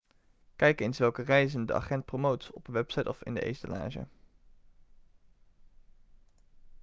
kijk eens welke reizen de agent promoot op een website of in de etalage